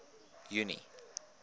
junie